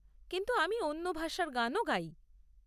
কিন্তু আমি অন্য ভাষার গানও গাই।